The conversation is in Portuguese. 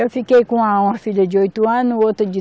Eu fiquei com uma, uma filha de oito anos, outra de